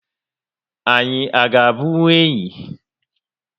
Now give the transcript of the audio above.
Anyị a ga bunkwu enyị?